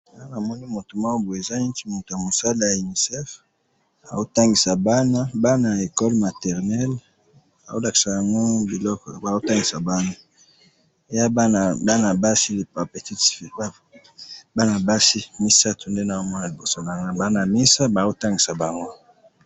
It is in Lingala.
Awa namoni mutu moko boye, eza neti mutu yamusala ya unicef, aotangisa bana, bana ya ecole maternel, aolakisa bango biloko, aotangisa bana, eyabana bana basi, ba petites filles, bana basi misatu nde nazomona liboso nanga, baa namesa baotangisa bango.